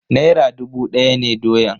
Naira dubu daya ne doyan.